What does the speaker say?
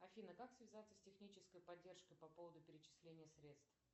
афина как связаться с технической поддержкой по поводу перечисления средств